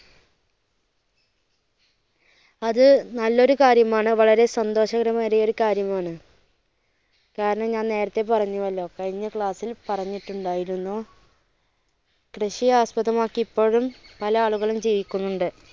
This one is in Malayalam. അത് നല്ല ഒരു കാര്യം ആണ്. വളരെ സന്തോഷകരമേറിയ ഒരു കാര്യം ആണ്, കാരണം ഞാൻ നേരത്തെ പറഞ്ഞുവല്ലോ കഴിഞ്ഞ class ൽ പറഞ്ഞിട്ട് ഉണ്ടായിരുന്നു കൃഷിയെ ആസ്പദമാക്കി ഇപ്പോഴും പല ആളുകളും ജീവിക്കുന്നുണ്ട്.